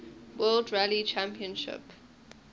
world rally championship